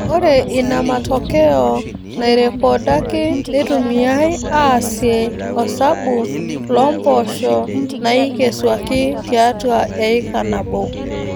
Ore ina matokeo nairrekodaki neitumiyai aasie osabu loo mpoosho naaikesuaki tiatua eika nabo